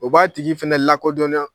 O b'a tigi fɛnɛ lakodɔnya